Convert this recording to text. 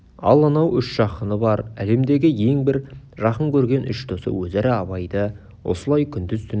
ал анау үш жақыны бар әлемдегі ең бір жақын көрген үш досы өзара абайды осылай күндіз-түні